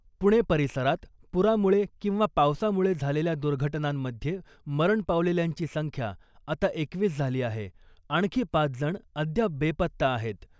पुणे परिसरात पुरामुळे किंवा पावसामुळे झालेल्या दुर्घटनांमधे मरण पावलेल्यांची संख्या आता एकवीस झाली आहे, आणखी पाच जण अद्याप बेपत्ता आहेत .